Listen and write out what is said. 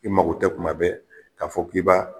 I mago tɛ tuma bɛ k'a fɔ k'i b'a